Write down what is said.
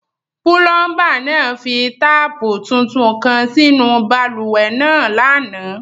Pulọmba naa fi taapu títún kan sínu bálúwẹ̀ naa lánà.